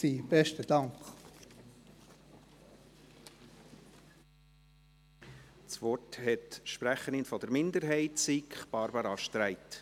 Das Wort hat die Sprecherin der SiK-Minderheit, Barbara Streit.